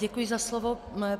Děkuji za slovo.